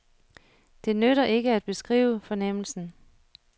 Det nytter ikke at beskrive fornemmelsen.